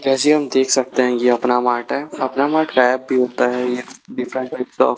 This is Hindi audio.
जैसे हम देख सकते हैं। ये अपना मार्ट हैं। अपना मार्ट गायब भी होता है। ये डिफरेंट स्टॉक --